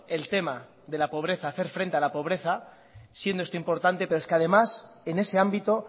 el tema de la pobreza hacer frente a la pobreza siendo esto importante pero es que además en ese ámbito